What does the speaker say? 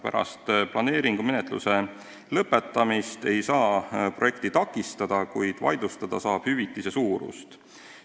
Pärast planeeringumenetluse lõpetamist ei saa projekti takistada, kuid vaidlustada saab hüvitise suurust.